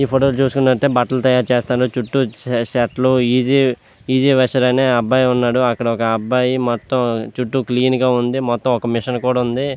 ఈ ఫోటో చూస్తునట్టు అయతె బట్టలు తాయారు చేస్తారు. చుట్టూ షర్ట్లు ఈజీ ఆ అబ్బాయి ఉన్నాడు అక్కడ ఒక అబ్బాయి మొత్తం చుట్టూ క్లీన్ గా ఉంది చుట్టూ ఒక మెషిన్ కూడా ఉంది.